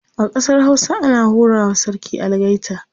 a ƙasar Hausa ana hura wa sarki algaita